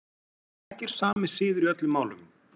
Ekki er sami siður í öllum málum.